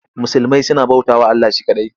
Musulmai suna bautawa Allah she kaɗai.